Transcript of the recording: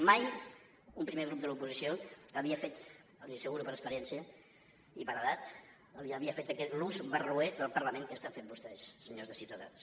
mai un primer grup de l’oposició havia fet els ho asseguro per experiència i per edat l’ús barroer del parlament que estan fent vostès senyors de ciutadans